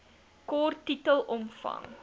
kort titel omvang